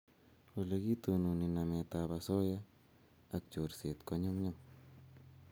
Ole kitononi namet ab asoya ak chorset ko nyunyum